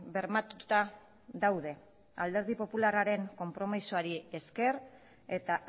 bermatuta daude alderdi popularraren konpromisoari esker eta